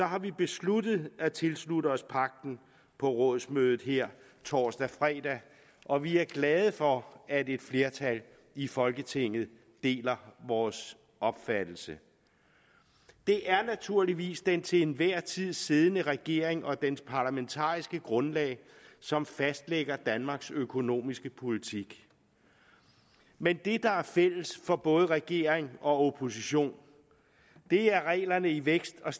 har vi besluttet at tilslutte os pagten på rådsmødet her torsdag fredag og vi er glade for at et flertal i folketinget deler vores opfattelse det er naturligvis den til enhver tid siddende regering og dens parlamentariske grundlag som fastlægger danmarks økonomiske politik men det der er fælles for både regering og opposition er reglerne i vækst og